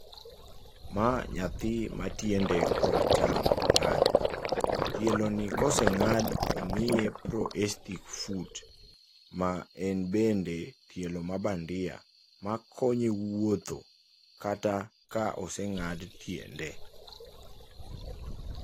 Ma nyathi ma tiende kor acham ong'ad. Tieloni ka oseng'ad, omiye proestic foot ma en bende tielo ma bandia makonye wuotho kata ka oseng'ad tiende.